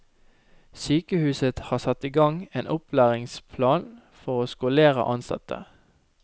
Sykehuset har satt i gang en opplæringsplan for å skolere ansatte.